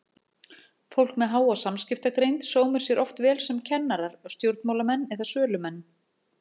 Fólk með háa samskiptagreind sómir sér oft vel sem kennarar, stjórnmálamenn eða sölumenn.